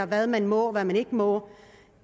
hvad man må og hvad man ikke må